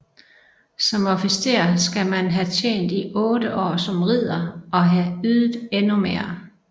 Som officer skal man have tjent i otte år som ridder og have ydet endnu mere